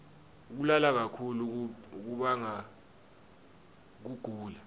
kulala kakhulu kubanga kugula